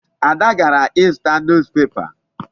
Ada gara ịzụta newspaper.